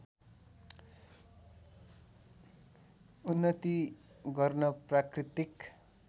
उन्नति गर्न प्राकृतिक